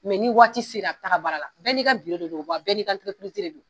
ni waati sera a bi taa baara la bɛɛ n'i ka de don wa bɛɛ n'i ka de don.